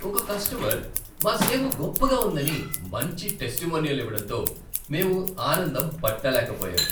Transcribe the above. ఒక కస్టమర్ మా సేవ గొప్పగా ఉందని మంచి టెస్టిమోనియల్ ఇవ్వడంతో మేము ఆనందం పట్టలేకపోయాం.